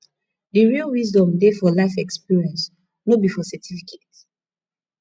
the real wisdom dey for life experience no be for certificates